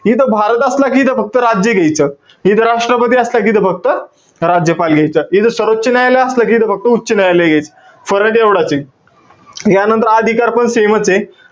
इथं भारत असला कि इथं फक्त राज्य घ्यायचं. जिथं राष्ट्रपती असला कि इथं फक्त राज्यपाल घ्यायचं. इथं सर्वोच्च न्यायालय असलं कि इथं फक्त उच्च नाय्यलाय घ्यायचं. फरक एवढाचे. यानंतर अधिकार पण same चे.